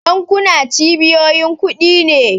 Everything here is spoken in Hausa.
Bankuna cibiyoyin kudi ne.